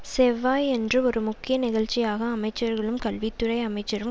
செவ்வாயன்று ஒரு முக்கிய நிகழ்ச்சியாக அமைச்சர்களும் கல்வி துறை அமைச்சரும்